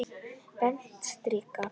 Beint strik!